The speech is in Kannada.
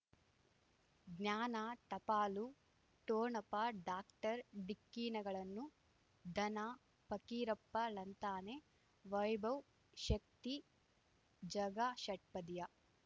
ಜ್ಞಾನ ಟಪಾಲು ಠೋಣಪ ಡಾಕ್ಟರ್ ಢಿಕ್ಕಿ ಣಗಳನು ಧನ ಫಕೀರಪ್ಪ ಳಂತಾನೆ ವೈಭವ್ ಶಕ್ತಿ ಝಗಾ ಷಟ್ಪದಿಯ